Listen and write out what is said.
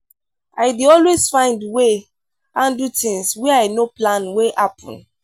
i dey always find way handle tins wey i no plan wey happen.